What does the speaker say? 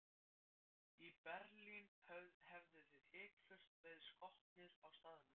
Í Berlín hefðuð þið hiklaust verið skotnir á staðnum.